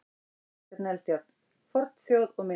Kristján Eldjárn: Fornþjóð og minjar.